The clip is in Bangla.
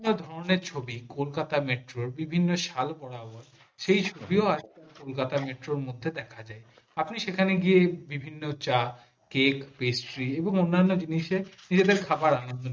বিভিন্ন ধরনের ছবি কলকাতা বিভিন্ন ছাল বরাবর শেষ ছবিও কলকাতা মেট্রো মধ্যে দেখা যায় আপনি সেখানে গিয়ে বিভিন্ন চা কেক পেপসি অন্যান্য জিনিসের খাবার আনা যায়